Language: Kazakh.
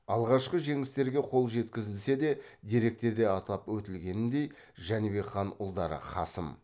алғашқы жеңістерге қол жеткізілсе де деректерде атап өтілгеніндей жәнібек хан ұлдары қасым